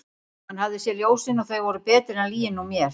Hann hafði séð ljósin og þau voru betri en lygin úr mér.